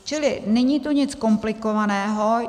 Čili není to nic komplikovaného.